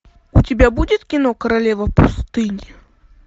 у тебя будет кино королева пустыни